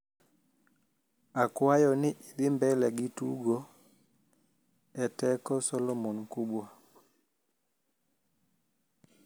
akwayo ni idhi mbele gi tugo e teko solomon mkubwa